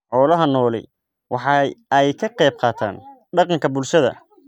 Xoolaha nooli waxa ay ka qayb qaataan dhaqanka bulshada.